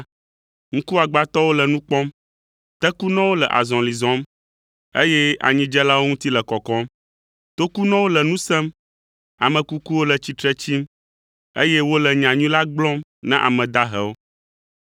ŋkuagbãtɔwo le nu kpɔm, tekunɔwo le azɔli zɔm, eye anyidzelawo ŋuti le kɔkɔm, tokunɔwo le nu sem, ame kukuwo le tsitre tsim, eye wole nyanyui la gblɔm na ame dahewo.